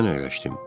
Mən əyləşdim.